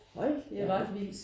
Hold da op